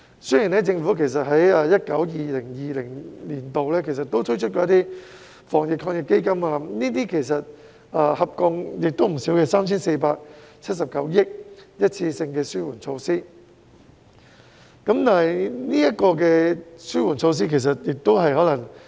雖然政府在 2019-2020 年度推出了防疫抗疫基金，合共撥出 3,479 億元的一次性紓緩措施，但是，紓緩措施亦可能......